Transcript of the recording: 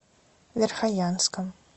верхоянском